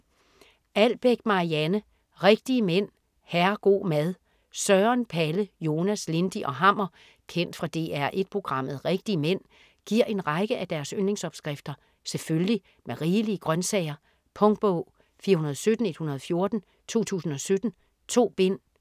Albeck, Marianne: Rigtige mænd - herrego' mad Søren, Palle, Jonas, Lindy og Hammer kendt fra DR1 programmet "Rigtige mænd" giver en række af deres yndlingsopskrifter selvfølgelig med rigelige grøntsager. Punktbog 417114 2017. 2 bind.